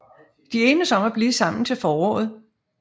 De enes om at blive sammen til foråret